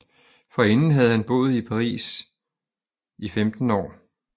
Forinden havde han boet 15 år i Paris